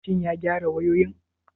Shin ya gyara wayoyin?